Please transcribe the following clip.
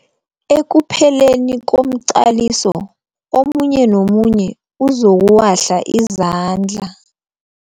Ekupheleni komqaliso omunye nomunye uzokuwahla izandla.